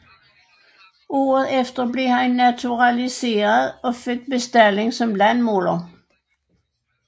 Året efter blev han naturaliseret og fik bestalling som landmåler